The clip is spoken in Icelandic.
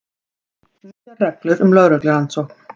Nýjar reglur um lögreglurannsókn